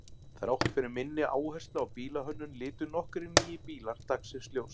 Þrátt fyrir minni áherslu á bílahönnun litu nokkrir nýir bílar dagsins ljós.